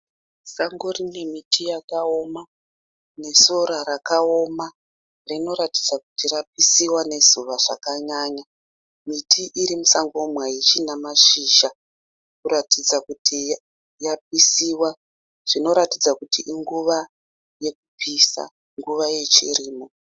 Sango rine miti yakaoma nesora rakaoma. Rinoratidza kuti rapisiwa nezuva zvakanyanya. Miti irimusango umu haichina mashizha kuratidza kuti yapisiwa. Zvinoratidza kuti inguva yekupisa, nguva yechirimo.